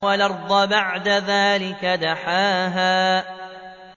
وَالْأَرْضَ بَعْدَ ذَٰلِكَ دَحَاهَا